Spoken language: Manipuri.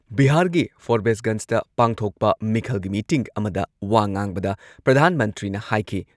ꯕꯤꯍꯥꯔꯒꯤ ꯐꯣꯔꯕꯦꯁꯒꯟꯁꯗ ꯄꯥꯡꯊꯣꯛꯄ ꯃꯤꯈꯜꯒꯤ ꯃꯤꯇꯤꯡ ꯑꯃꯗ ꯋꯥ ꯉꯥꯡꯕꯗ ꯄ꯭ꯔꯙꯥꯟ ꯃꯟꯇ꯭ꯔꯤꯅ ꯍꯥꯏꯈꯤ